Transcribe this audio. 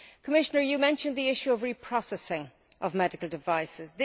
Commissioner, you mentioned the issue of the reprocessing of medical devices.